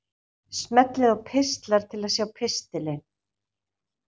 Smellið á Pistlar til að sjá pistilinn.